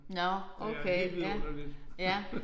Nåh okay ja ja